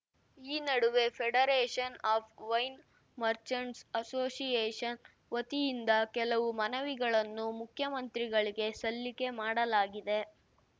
ಈ ನಡುವೆ federation of wine merchants association ವತಿಯಿಂದ ಕೆಲವು ಮನವಿಗಳನ್ನು ಮುಖ್ಯಮಂತ್ರಿಗಳಿಗೆ ಸಲ್ಲಿಕೆ ಮಾಡಲಾಗಿದೆ